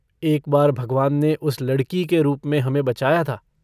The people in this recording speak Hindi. एक बार भगवान ने उस लड़की के रूप में हमें बचाया था।